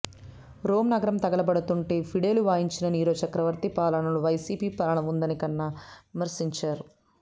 Rome నగరం తగలబడుతుంటే ఫిడేలు వాయించిన నీరో చక్రవర్తి పాలనలా వైసిపి పాలన ఉందని కన్నా విమర్శించారు